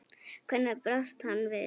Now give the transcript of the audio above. Hvernig brást hann við?